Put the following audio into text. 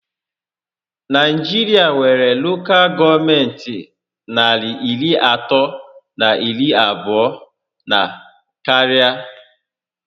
Naijiria nwéré Lokal gọọmenti narị iri atọ na iri abụọ na karịa